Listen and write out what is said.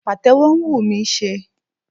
Pàtẹ́wọ́ ń wù mí ṣe